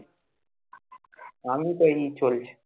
আমি তো এই চলছে,